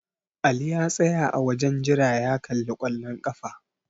Ali ya tsaya a wajen jira ya kalli kwallon ƙafa.